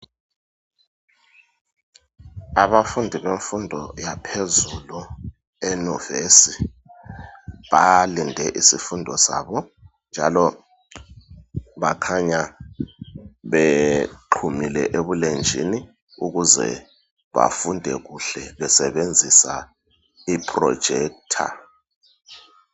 Abafundi bemfundo yaphezulu enuvesi balinde isifundo sabo njalo bakhanya bephumile ebulenjini ukuze befunde kuhle besebenzisa ipholojekitha.